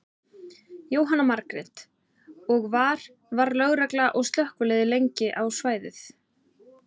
Jóhanna Margrét: Og var, var lögregla og slökkvilið lengi á svæðið?